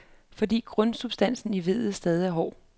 Fordi grundsubstansen i vedet stadig er hård.